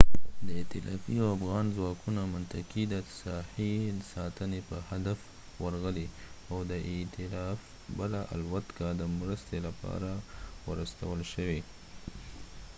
ایتلافي او افغان ځواکونه منطقې ته د ساحې د ساتنې په هدف ورغلي او د ایتلاف بله الوتکه د مرستې لپاره ور استول شوې